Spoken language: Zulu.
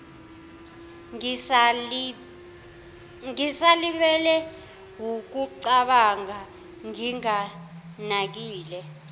ngisalibele wukucabanga nginganakile